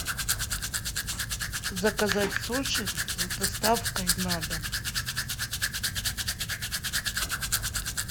заказать суши с доставкой на дом